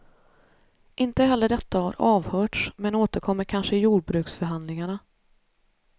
Inte heller detta har avhörts, men återkommer kanske i jordbruksförhandlingarna.